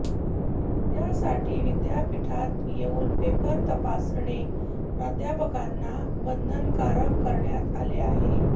त्यासाठी विद्यापीठात येऊन पेपर तपासणे प्राध्यापकांना बंधनकारक करण्यात आले आहे